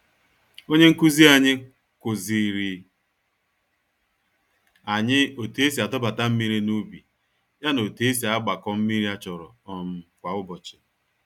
Onye nkụzi anyị, kuziri anyị otú esi adọbata mmiri n'ubi, ya na otú esi agbakọ mmírí a chọrọ um kwá ụbọchị